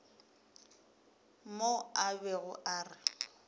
mo a bego a re